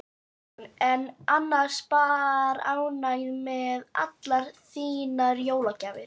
Hugrún: En annars bara ánægð með allar þínar jólagjafir?